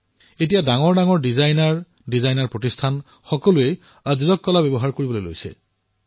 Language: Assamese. এতিয়া ডাঙৰ ডাঙৰ ডিজাইনাৰ ডাঙৰ ডাঙৰ ডিজাইনাৰ সংস্থাই আজৰক প্ৰিণ্ট ব্যৱহাৰ কৰিবলৈ ধৰিছে